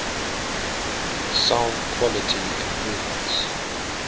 sound quality improvements